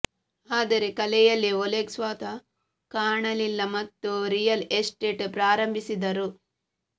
ಆದರೆ ಕಲೆಯಲ್ಲಿ ಒಲೆಗ್ ಸ್ವತಃ ಕಾಣಲಿಲ್ಲ ಮತ್ತು ರಿಯಲ್ ಎಸ್ಟೇಟ್ ಪ್ರಾರಂಭಿಸಿದರು